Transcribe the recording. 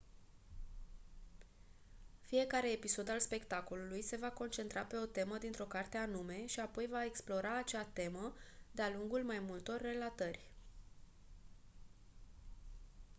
fiecare episod al spectacolului se va concentra pe o temă dintr-o carte anume și apoi va explora acea temă de-a lungul mai multor relatări